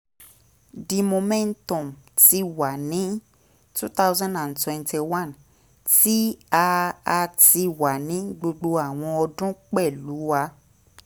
the momentum ti wa ni two thousand and twenty one ti a a ti wa ni gbogbo awọn ọdun pẹlu a